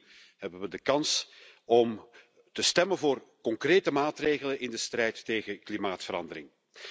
Opnieuw hebben we de kans om te stemmen voor concrete maatregelen in de strijd tegen klimaatverandering.